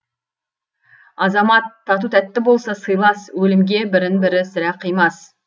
азамат тату тәтті болса сыйлас өлімге бірін бірі сірә қимас